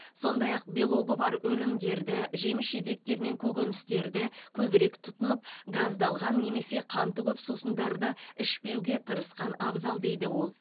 сондай ақ белогы бар өнімдерді жеміс жидектер мен көкөністерді көбірек тұтынып газдалған немесе қанты көп сусындарды ішпеуге тырысқан абзал дейді ол